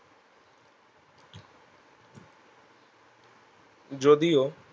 যদিও